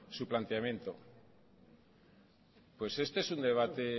su planteamiento pues este es un debate